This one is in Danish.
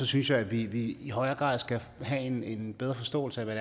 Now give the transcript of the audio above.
synes jeg at vi i højere grad skal have en en bedre forståelse af hvad